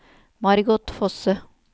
Margot Fosse